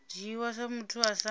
dzhiwa sa muthu a sa